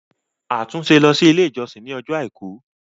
Atunse ló si ile ijọsin ní Ọjọ́ aìkú!